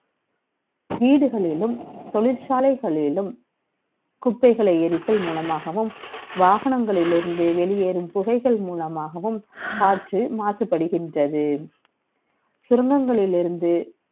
வீடுகளிலும் தொழிற்சாலைகளிலும் குப்பைகளை எரித்து மூலமாகவும் வாகனங்களில் இருந்து வெளிவரும் புகையின் மூலமாகவும் காற்று மாசு படுகின்றது. சுரங்கங்களில் இருந்து